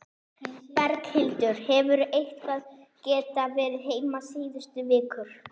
Berghildur: Hefurðu eitthvað geta verið heima síðustu vikur?